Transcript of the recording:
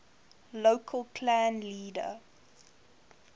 local clan leader